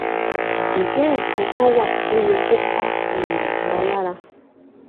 ǹjẹ nǹkan kan wà tó yẹ kó ká um wa lára